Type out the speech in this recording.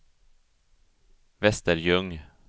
Västerljung